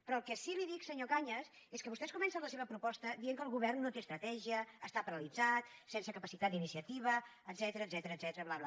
però el que sí que li dic senyor cañas és que vostès comencen la seva proposta dient que el govern no té estratègia està paralitzat sense capacitat d’iniciativa etcètera bla bla